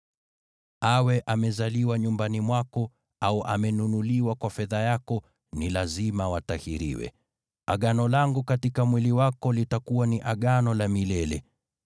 Awe amezaliwa nyumbani mwako au amenunuliwa kwa fedha yako, ni lazima watahiriwe. Agano langu katika mwili wako litakuwa ni Agano la milele.